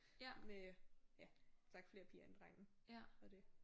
Med ja som sagt flere piger end drenge og det